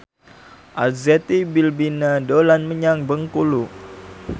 Arzetti Bilbina dolan menyang Bengkulu